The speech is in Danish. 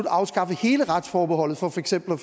afskaffe hele retsforbeholdet for for eksempel